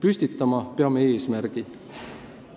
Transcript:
Me peame püstitama eesmärgi.